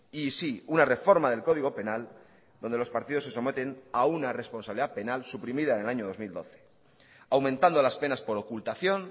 y sí una reforma del código penal donde los partidos se someten a una responsabilidad penal suprimida en el año dos mil doce aumentando las penas por ocultación